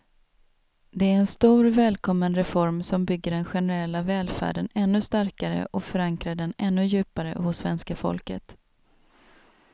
Det är en stor, välkommen reform som bygger den generella välfärden ännu starkare och förankrar den ännu djupare hos svenska folket.